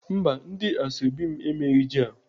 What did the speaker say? Mba, ndị ashọbị m emeghị jel.